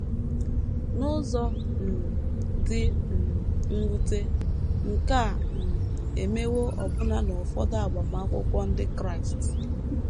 N’ụzọ um dị um mwute, nke a um emewo ọbụna n’ụfọdụ agbamakwụkwọ ndị Kraịst.